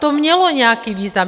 To mělo nějaký význam.